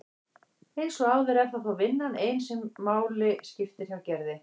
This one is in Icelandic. Eins og áður er það þó vinnan ein sem máli skiptir hjá Gerði.